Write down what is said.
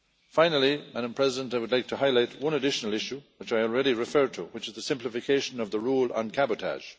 Finally Madam President, I would like to highlight one additional issue which I already referred to, which is the simplification of the rule on cabotage.